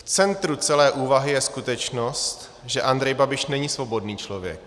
V centru celé úvahy je skutečnost, že Andrej Babiš není svobodný člověk.